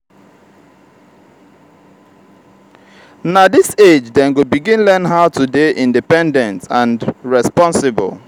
na dis age dem go begin learn how to dey independent and responsible.